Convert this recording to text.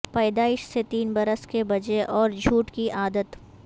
پیدائیش سے تین برس کے بجے اور جھوٹ کی عادت